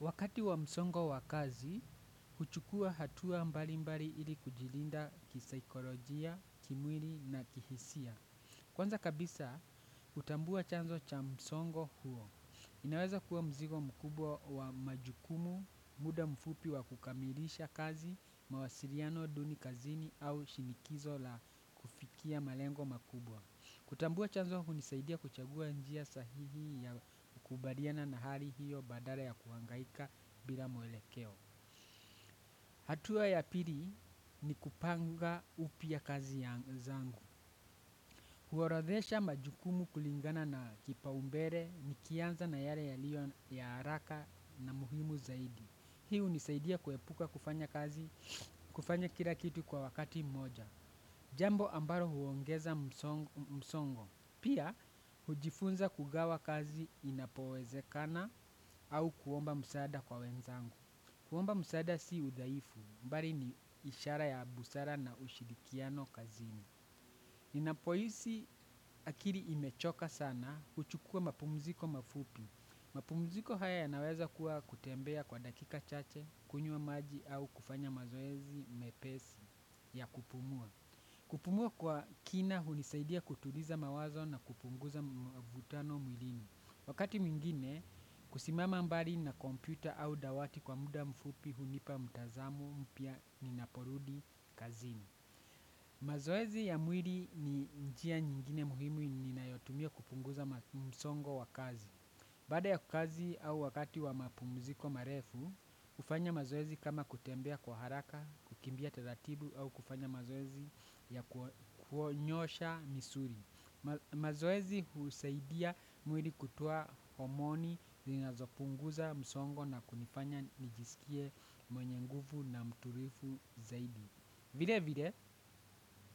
Wakati wa msongo wa kazi, kuchukua hatua mbalimbali ili kujilinda kisaikolojia, kimwiri na kihisia. Kwanza kabisa, hutambua chanzo cha msongo huo. Inaweza kuwa mzigo mkubwa wa majukumu, muda mfupi wa kukamilisha kazi, mawasiriano, duni kazini au shinikizo la kufikia malengo makubwa. Kutambua chanzo hunisaidia kuchagua njia sahihi ya kukubariana na hali hiyo badala ya kuhangaika bila mwelekeo. Hatua ya pili ni kupanga upya kazi ya zangu. Huorodhesha majukumu kulingana na kipaumbere nikianza na yale yaliyo ya haraka na muhimu zaidi. Hii hunisaidia kuepuka kufanya kira kitu kwa wakati moja. Jambo ambaro huongeza msongo. Pia, hujifunza kugawa kazi inapowezekana au kuomba msaada kwa wenzangu. Kuomba msaada si udhaifu, mbari ni ishara ya busara na ushirikiano kazini. Ninapohisi akiri imechoka sana, huchukua mapumziko mafupi. Mapumziko haya yanaweza kuwa kutembea kwa dakika chache, kunywa maji au kufanya mazoezi, mepesi ya kupumua. Kupumua kwa kina, hunisaidia kutuliza mawazo na kupunguza mvutano mwilini. Wakati mwingine, kusimama mbali na kompyuta au dawati kwa muda mfupi, hunipa, mtazamo, mpya, ninaporudi, kazini. Mazoezi ya mwili ni njia nyingine muhimu ninayotumia kupunguza msongo wa kazi. Baada ya ku kazi au wakati wa mapumuziko marefu, hufanya mazoezi kama kutembea kwa haraka, kukimbia taratibu au kufanya mazoezi ya kuonyosha misuri. Mazoezi husaidia mwili kutua omoni, ninazopunguza, msongo na kunifanya nijisikie mwenye ngufu na mturifu zaidi. Vile vile,